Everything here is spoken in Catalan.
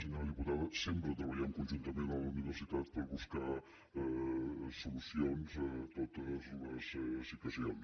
senyora diputada sempre treballem conjuntament amb la universitat per buscar solucions a totes les situacions